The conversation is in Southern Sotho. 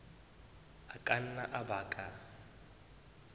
a ka nna a baka